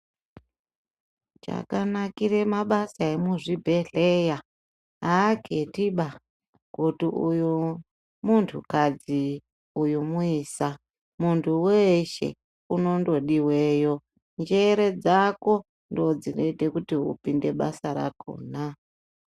Zvakanakira mabasa emuzvibhedhlera aketi ba kuti uyu muntu kadzi uyu muisa muntu weshe unondodiwayo njere dzako ndodzinoita upinde basa rakona.